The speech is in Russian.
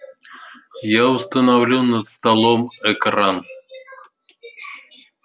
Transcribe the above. я установлю над столом экран